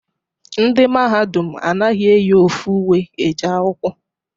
Ndị Mahadum anaghị eyi ofu uwe eje akwụkwọ.